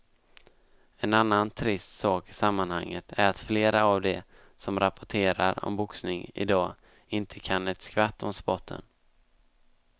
En annan trist sak i sammanhanget är att flera av de som rapporterar om boxning i dag inte kan ett skvatt om sporten.